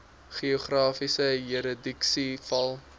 geografiese jurisdiksie val